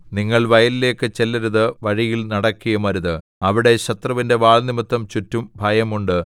നിങ്ങൾ വയലിലേക്കു ചെല്ലരുത് വഴിയിൽ നടക്കുകയുമരുത് അവിടെ ശത്രുവിന്റെ വാൾ നിമിത്തം ചുറ്റും ഭയം ഉണ്ട്